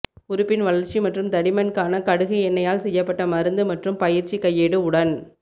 உறுப்பின் வளர்ச்சி மற்றும் தடிமன் க்கான கடுகு எண்ணெயால் செய்யப்பட்ட மருந்து மற்றும் பயிற்சி கையேடு உடன்